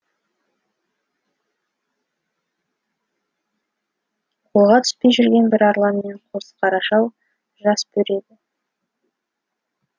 қолға түспей жүрген бір арлан мен қос қаражал жас бөрі еді